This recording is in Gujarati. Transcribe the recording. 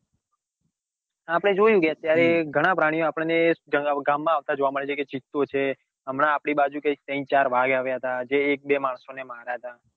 આપડે જોઈન કે અત્યારે ઘણા પ્રાણીઓ આપડો ને ગામ માં આવતા જોવા મળે છે જેમ કે ચિત્તો છે હમણાં આપડી બાજુ કૈક ત્રણ ચાર આવ્યા હતા જે એક બે માણસો ને માર્યા હતા.